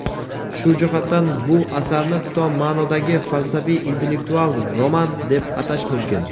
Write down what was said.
Shu jihatdan bu asarni tom maʼnodagi falsafiy-intellektual roman deb atash mumkin.